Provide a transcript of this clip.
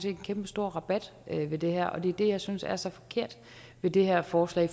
en kæmpestor rabat ved det her og det er det jeg synes er så forkert ved det her forslag